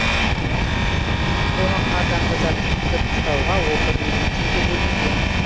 оның қардан тазартып күтіп ұстауға он бір миллион теңге бөлінген